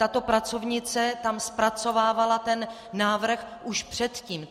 Tato pracovnice tam zpracovávala ten návrh už předtím.